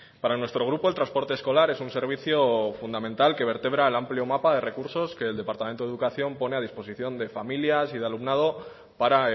para nuestro grupo el transporte escolar es un servicio fundamental que vertebra el amplio mapa de recursos que el departamento de educación pone a disposición de familias y de alumnado para